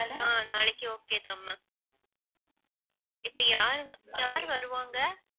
அஹ் நாளைக்கு okay இப்ப யாரு வருவாங்க